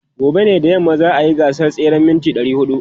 Gobe ​​da yamma ne za a yi gasar tseren mita 400.